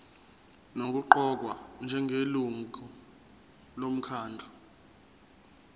nokuqokwa njengelungu lomkhandlu